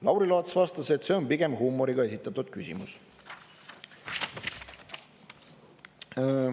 Lauri Laats vastas, et see on pigem huumoriga esitatud küsimus.